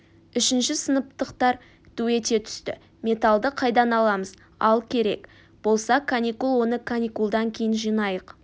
үшінші сыныптықтар ду ете түсті металды қайдан аламыз ал керек болса каникул оны каникулдан кейін жинайық